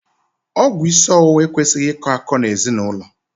Ọgwụ isi ọwụwa ekwesịghị ị kọ akọ n'ezinaụlọ.